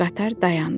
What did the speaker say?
Qatar dayandı.